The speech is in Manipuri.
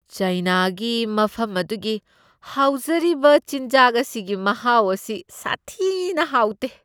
ꯆꯥꯏꯅꯥꯒꯤ ꯃꯐꯝ ꯑꯗꯨꯒꯤ ꯍꯥꯎꯖꯔꯤꯕ ꯆꯤꯟꯖꯥꯛ ꯑꯁꯤꯒꯤ ꯃꯍꯥꯎ ꯑꯁꯤ ꯁꯥꯊꯤꯅ ꯍꯥꯎꯇꯦ ꯫